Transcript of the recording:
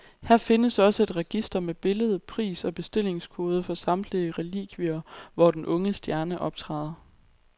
Her findes også et register med billede, pris og bestillingskode for samtlige relikvier, hvor den unge stjerne optræder.